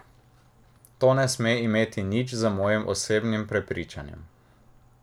To ne sme imeti nič z mojim osebnim prepričanjem.